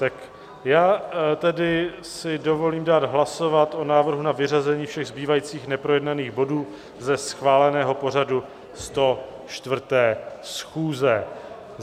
Tak já tedy si dovolím dát hlasovat o návrhu na vyřazení všech zbývajících neprojednaných bodů ze schváleného pořadu 104. schůze.